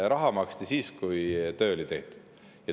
Raha maksti siis, kui töö oli tehtud.